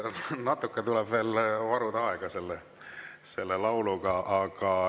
Natuke tuleb veel selle lauluga, aega varuda.